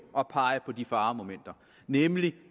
at pege på de faremomenter nemlig